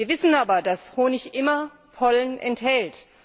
Wir wissen aber, dass Honig immer Pollen enthält.